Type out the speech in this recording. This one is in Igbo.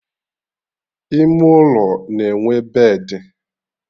Ime ụlọ na-enwe bedị